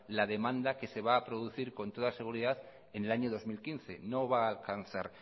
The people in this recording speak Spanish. la demanda que se va a producir con toda seguridad en el año dos mil quince no va a alcanzar